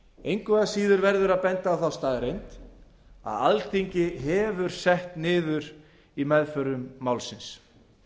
engu að síður verður að benda á þá staðreynd að alþingi hefur sett niður í meðförum málsins